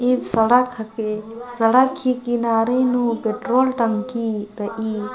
ईद सड़क हके सड़क ही किनारे नू पेट्रोल टंकी रइई ।